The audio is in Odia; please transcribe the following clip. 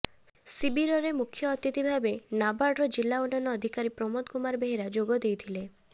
ଶିବିରରେ ମୁଖ୍ୟ ଅତିଥି ଭାବେ ନାବାର୍ଡ଼ର ଜିଲ୍ଲା ଉନ୍ନୟନ ଅଧିକାରୀ ପ୍ରମୋଦ କୁମାର ବେହେରା ଯୋଗ ଦେଇଥିଲେ